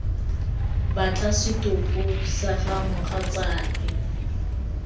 batla setopo sa ga mogatsaake